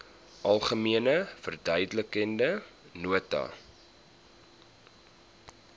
algemene verduidelikende nota